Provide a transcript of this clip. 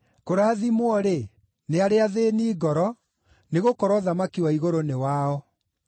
“Kũrathimwo-rĩ, nĩ arĩa athĩĩni ngoro, nĩgũkorwo ũthamaki wa igũrũ nĩ wao.